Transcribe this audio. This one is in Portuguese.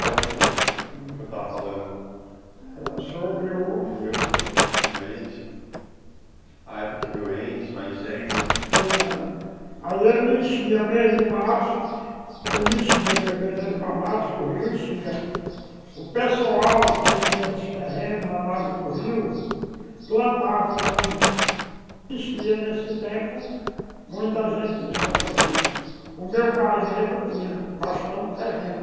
Pode continuar, o que eu estava falando Era sobre o... O rio, quando quando enche A época que o rio enche, vai incendo ah. Aí ele enchia, mês de março Ele enchia, fevereiro pra março, o rio enchia O pessoal, quem tinha terreno na base do rio Plantavam muito Existia nesse tempo Muita gente do São Francisco O meu pai mesmo tinha bastante terreno